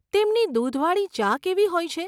તેમની દૂધવાળી ચા કેવી હોય છે?